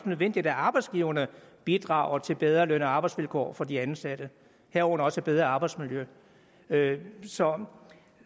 nødvendigt at arbejdsgiverne bidrager til bedre løn og arbejdsvilkår for de ansatte herunder også et bedre arbejdsmiljø så